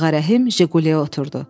Ağa Rəhim Jiquliyə oturdu.